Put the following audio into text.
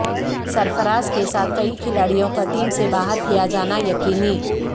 سرفراز کے ساتھ کئی کھلاڑیوں کا ٹیم سے باہر کیا جانا یقینی